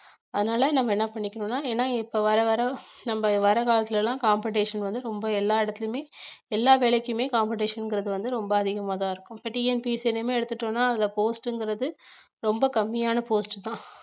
அதனால நம்ம என்ன பண்ணிக்கணும்னா ஏன்னா இப்ப வர வர நம்ம வர காலத்துல எல்லாம் competition வந்து ரொம்ப எல்லா இடத்துலயுமே எல்லா வேலைக்குமே competition ங்கிறது வந்து ரொம்ப அதிகமாதான் இருக்கும் இப்ப TNPSC யிலியுமே எடுத்துட்டோம்ன்னா அதுல post ங்கிறது ரொம்ப கம்மியான post உ தான்